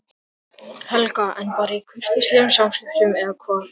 Helga: En bara í kurteisislegum samskiptum eða hvað?